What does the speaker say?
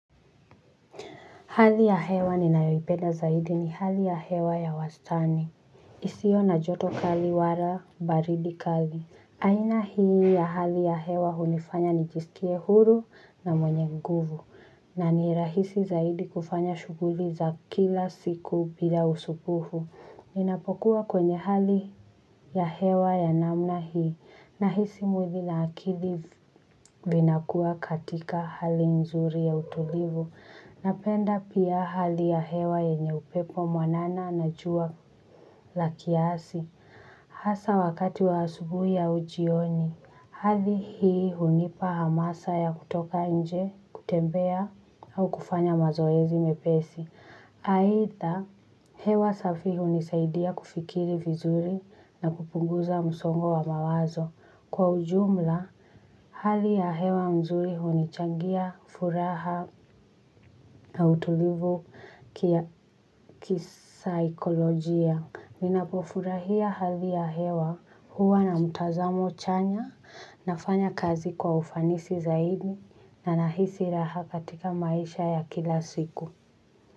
Hali ya hewa ninayoipenda zaidi ni hali ya hewa ya wastani. Isio na joto kali wala baridi kali. Aina hii ya hali ya hewa hunifanya nijisikie huru na mwenye nguvu. Na ni rahisi zaidi kufanya shughuli za kila siku bila usumbufu. Ninapokuwa kwenye hali ya hewa ya namna hii. Nahisi mwili na akili vinakuwa katika hali nzuri ya utulivu. Napenda pia hali ya hewa yenye upepo mwanana na jua la kiasi hasa wakati wa asubuhi au jioni, hali hii hunipa hamasa ya kutoka nje, kutembea au kufanya mazoezi mepesi. Aidha, hewa safi hunisaidia kufikiri vizuri na kupunguza msongo wa mawazo. Kwa ujumla, hali ya hewa mzuri hunichangia, furaha na utulivu kisaikolojia. Ninapofurahia hali ya hewa huwa na mtazamo chanya nafanya kazi kwa ufanisi zaidi na nahisi raha katika maisha ya kila siku.